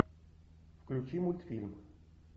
включи мультфильм